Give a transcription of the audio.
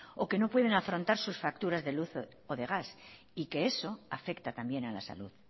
o que no pueden afrontar sus facturas de luz o de gas y que eso afecta también a la salud